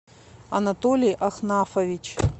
анатолий ахнафович